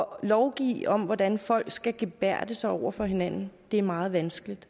lovgive om hvordan folk skal gebærde sig over for hinanden er meget vanskeligt